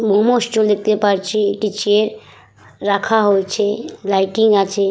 লোমশ চুল দেখতে পারছি একটি ছেলের রাখা হয়েছে লাইটিং আছে।